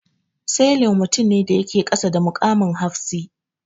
Sailor mutum ne da yake kasa da mukamin hafshi.